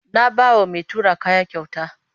Na ba wa mai tura kaya kyauta.